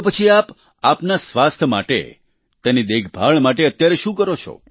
તો પછી આપ આપના સ્વાસ્થ્ય માટે તેની દેખભાળ માટે અત્યારે શું કરો છો